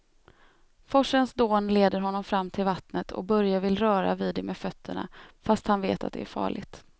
Forsens dån leder honom fram till vattnet och Börje vill röra vid det med fötterna, fast han vet att det är farligt.